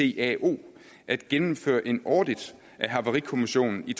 icao at gennemføre en audit af havarikommissionen i